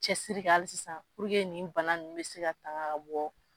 Cɛsiri kɛ hali sisan nin bana nunnu bɛ se ka taaga ka bɔ.